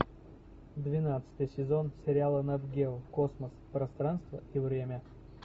двенадцатый сезон сериала нат гео космос пространство и время